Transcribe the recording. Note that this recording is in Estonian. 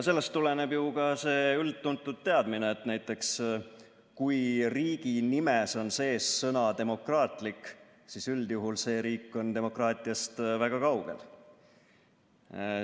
Sellest tuleneb ka see üldtuntud teadmine, et näiteks kui riigi nimes on sees sõna "demokraatlik", siis üldjuhul on see riik demokraatiast väga kaugel.